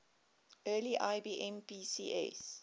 early ibm pcs